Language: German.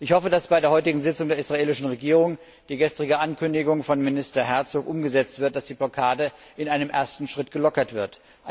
Ich hoffe, dass bei der heutigen Sitzung der israelischen Regierung die gestrige Ankündigung von Minister Herzog umgesetzt wird, dass die Blockade in einem ersten Schritt gelockert wird.